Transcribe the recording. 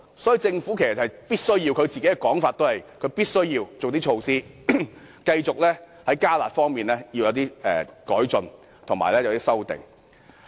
所以，按政府的說法，它必須提出一些措施，繼續在"加辣"方面作出改進及修訂。